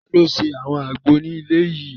Taló ṣe àwọn àgbo ní ilé yìí?